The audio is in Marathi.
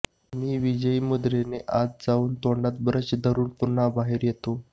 मी विजयी मुद्रेने आत जाऊन तोंडात ब्रश धरून पुन्हा बाहेर येतो